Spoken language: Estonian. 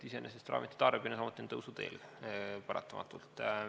Iseenesest on ravimite tarbimine samuti tõusuteel, paratamatult.